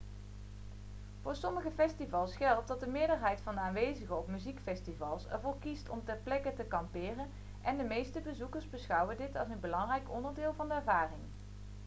voor sommige festivals geldt dat de meerderheid van de aanwezigen op muziekfestivals ervoor kiest om ter plekke te kamperen en de meeste bezoekers beschouwen dit als een belangrijk onderdeel van de ervaring